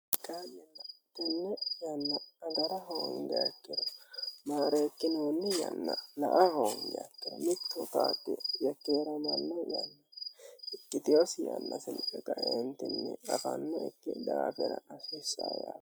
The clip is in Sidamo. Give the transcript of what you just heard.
Kaayi'nilla tenne yanna agara hoonigiha ikkino mareekkinoonni yanna la'a hoongiha ikkiro mittu qaaqqi yekkeramanno yanna ikiteyosi yanna siriqqe kaentinni afanno ikki daafira asissa yaate